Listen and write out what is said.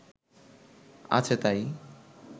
আছে তাই